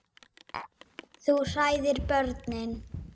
Þú hræðir börnin.